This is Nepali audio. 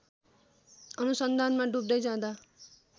अनुसन्धानमा डुब्दै जाँदा